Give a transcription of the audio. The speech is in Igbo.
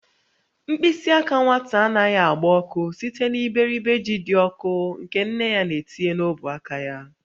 Mkpịsị aka nwata anaghị agba ọkụ site n'iberibe ji dị ọkụ nke nne ya na-etinye n'ọbụ aka ya.